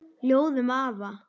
Ljóð um afa.